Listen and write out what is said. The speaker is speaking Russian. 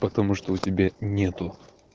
потому что у тебя нету